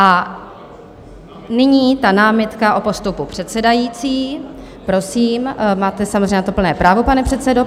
A nyní ta námitka o postupu předsedající, prosím, máte samozřejmě na to plné právo, pane předsedo.